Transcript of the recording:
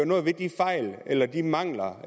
noget ved de fejl eller de mangler